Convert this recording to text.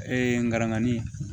Ee ngaranganin